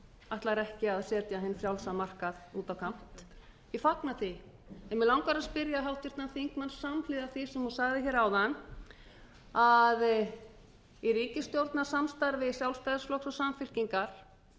ætlar ekki að setja hinn frjálsa markað út á kant ég fagna því en mig langar að spyrja háttvirtan þingmann samhliða því sem hún sagði hér áðan að í ríkisstjórnarsamstarfi sjálfstæðisflokks og samfylkingar hefði